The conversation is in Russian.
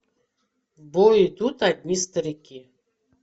в бой идут одни старики